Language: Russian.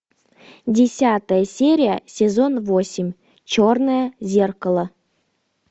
десятая серия сезон восемь черное зеркало